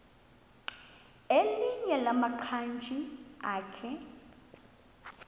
elinye lamaqhaji akhe